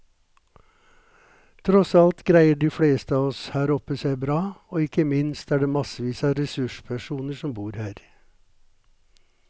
Tross alt greier de fleste av oss her oppe seg bra, og ikke minst er det massevis av ressurspersoner som bor her.